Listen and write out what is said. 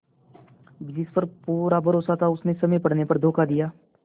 जिस पर पूरा भरोसा था उसने समय पड़ने पर धोखा दिया